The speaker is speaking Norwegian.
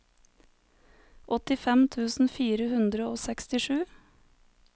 åttifem tusen fire hundre og sekstisju